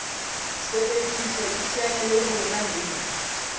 sebediswa iteanye le rona link